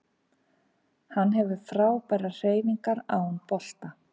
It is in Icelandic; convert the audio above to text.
Hann hefur frábærar hreyfingar án bolta